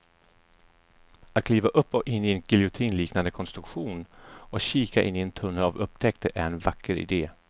Att kliva upp och in i en giljotinliknande konstruktion och kika in i en tunnel av upptäckter är en vacker idé.